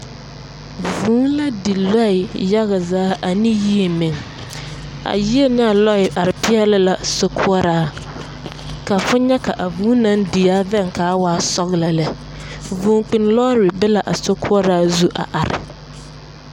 Vũũ la di lͻԑ yaga zaa ane yie meŋ. A yie nea lͻԑ are peԑle la sokoͻraa. Ka fo nyԑ ka a vũũ naŋ die veŋ ka a waa sͻgelͻ lԑ. Vũũ kpiŋ lͻͻre be la a sokoͻraa zu a are.